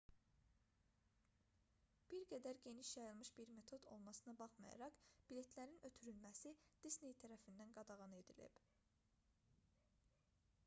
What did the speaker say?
bir qədər geniş yayılmış bir metod olmasına baxmayaraq biletlərin ötürülməsi disney tərəfindən qadağan edilib